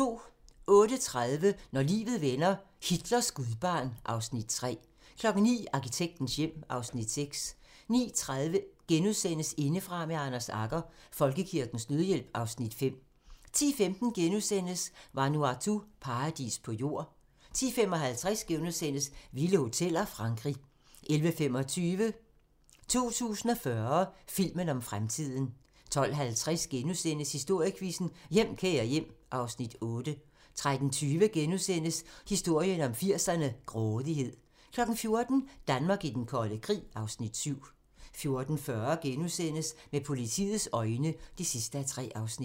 08:30: Når livet vender - Hitlers gudbarn (Afs. 3) 09:00: Arkitektens hjem (Afs. 6) 09:30: Indefra med Anders Agger - Folkekirkens Nødhjælp (Afs. 5)* 10:15: Vanuatu - paradis på jord * 10:55: Vilde hoteller - Frankrig * 11:25: 2040 - filmen om fremtiden 12:50: Historiequizzen: Hjem, kære hjem (Afs. 8)* 13:20: Historien om 80'erne: Grådighed * 14:00: Danmark i den kolde krig (Afs. 7) 14:40: Med politiets øjne (3:3)*